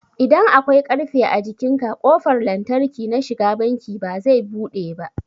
idan akwai ƙarfe a jikinka ƙofar lantarki na shiga banki bazai buɗe ba